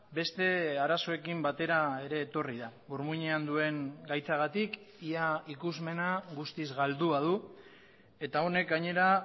beste arazoekin batera ere etorri da burmuinean duen gaitzagatik ia ikusmena guztiz galdua du eta honek gainera